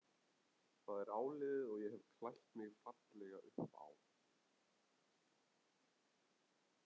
Það er áliðið og ég hef klætt mig fallega upp á.